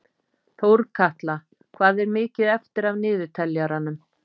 Þórkatla, hvað er mikið eftir af niðurteljaranum?